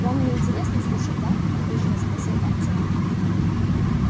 вам не интересно слушать да обиженно спросил артем